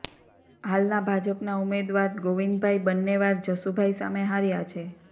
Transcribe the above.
હાલનાં ભાજપના ઉમેદવાદ ગોવિંદભાઇ બન્ને વાર જશુભાઇ સામે હાર્યા છે